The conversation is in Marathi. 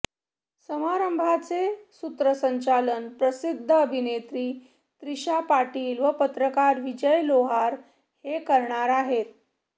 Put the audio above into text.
समारंभाचे सूत्रसंचालन प्रसिद्ध अभिनेत्री त्रीशा पाटील व पत्रकार विजय लोहार हे करणार आहेत